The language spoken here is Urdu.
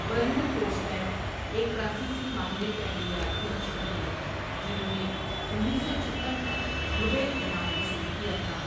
ورنر فورس مین ایک فرانسیسی ماہر فعلیات فزیشن تھے جنھوں نے انیس سو چھپن کا نوبل انعام وصول کیا تھا ۔